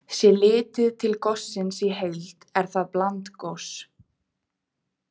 Sé litið til gossins í heild er það blandgos.